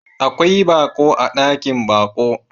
Akwai baƙo a ɗakin baƙo.